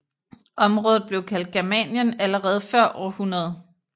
Området blev kaldt Germanien allerede før år 100